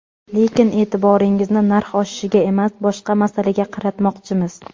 Lekin e’tiboringizni narx oshishiga emas, boshqa masalaga qaratmoqchimiz.